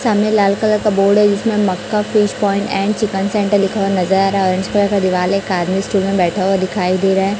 सामने लाल कलर का बोर्ड है जिसमें Makka fish point and chicken centre लिखा हुआ नज़र आ रहा है ओरेंज कलर का दिवाल है एक आदमी स्टूल में बैठा हुआ दिखाई दे रहा है।